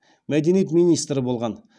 мәдениет министрі болған